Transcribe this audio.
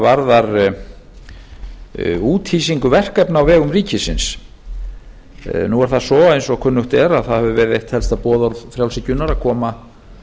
varðar úthýsingu verkefna á vegum ríkisins nú er það svo eins og kunnugt er að það hefur verið eitt helsta boðorð frjálshyggjunnar að koma